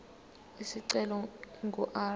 isicelo ingu r